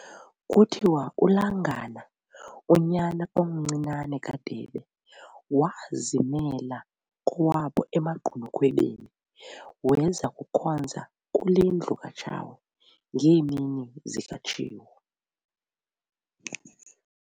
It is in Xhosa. Kuthiwa uLangana, unyana omncinane kaDebe, waazimela kowabo emaGqunukhwebeni, weza kukhonza kule ndlu kaTshawe, ngeemini zikaTshiwo.